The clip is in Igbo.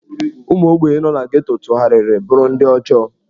Ụmụ ogbenye nọ na Geto tụgharịrị bụrụ ndị ọjọọ.